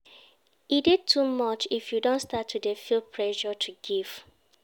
E de too much if you don start to de feel pressure to give